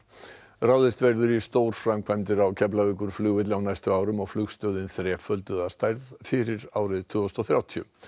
ráðist verður í stórframkvæmdir á Keflavíkurflugvelli á næstu árum og flugstöðin þrefölduð að stærð fyrir árið tvö þúsund og þrjátíu